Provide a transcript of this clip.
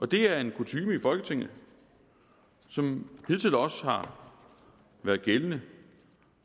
det er en kutyme i folketinget som hidtil også har været gældende